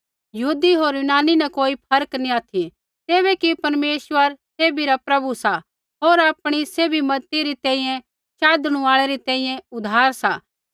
यहूदी होर यूनानी न कोई फर्क नैंई ऑथि तैबै कि परमेश्वर सैभी रा प्रभु सा होर आपणै सैभी मज़ती री तैंईंयैं शाधणु आल़ै री तैंईंयैं उद्धार सा